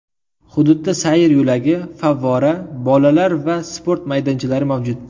Hududda sayr yo‘lagi, favvora, bolalar va sport maydonchalari mavjud.